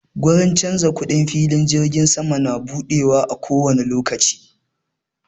Gurin canza kuɗin filin jirgin sama na buɗewa a kowani lokaci